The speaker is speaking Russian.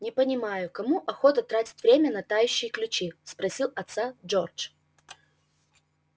не понимаю кому охота тратить время на тающие ключи спросил отца джордж